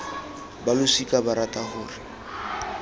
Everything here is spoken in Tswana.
ba losika ba rata gore